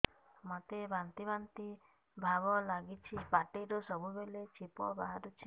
ମୋତେ ବାନ୍ତି ବାନ୍ତି ଭାବ ଲାଗୁଚି ପାଟିରୁ ସବୁ ବେଳେ ଛିପ ବାହାରୁଛି